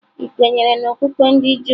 Ị kwenyere n'okpukpe ndị Juu?